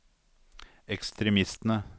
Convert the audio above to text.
ekstremistene